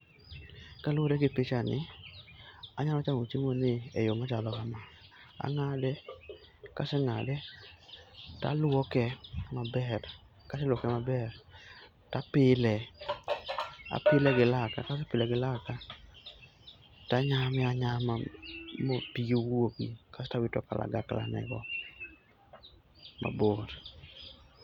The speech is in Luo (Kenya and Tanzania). Kaluwore gi picha ni, anyalo chamo chiemo ni e yo machalo kama, ang'ade kaseng'ade taluoke maber, kaseluoke maber tapile. Apile gi laka, kasepile gi laka tanyame anyama ma pige wuogi kasto awito kalagakla ne go mabor.